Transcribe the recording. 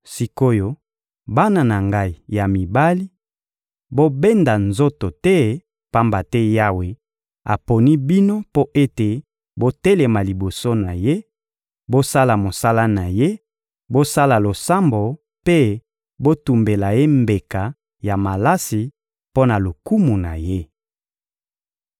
Sik’oyo, bana na ngai ya mibali, bobenda nzoto te, pamba te Yawe aponi bino mpo ete botelema liboso na Ye, bosala mosala na Ye, bosala losambo mpe botumbela Ye mbeka ya malasi mpo na lokumu na Ye.